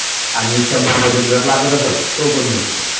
आणि शंंभरमध्ये जर लागत असेल तर तो पण मिळतो